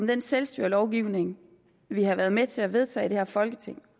den selvstyrelovgivning vi har været med til at vedtage i det her folketing